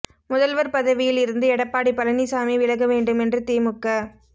முதல்வர் பதவியில் இருந்து எடப்பாடி பழனிசாமி விலக வேண்டும் என்று திமுக